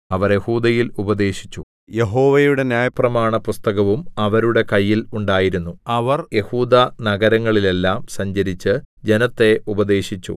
അവർ യെഹൂദയിൽ ഉപദേശിച്ചു യഹോവയുടെ ന്യായപ്രമാണപുസ്തകവും അവരുടെ കയ്യിൽ ഉണ്ടായിരുന്നു അവർ യെഹൂദാനഗരങ്ങളിലെല്ലാം സഞ്ചരിച്ച് ജനത്തെ ഉപദേശിച്ചു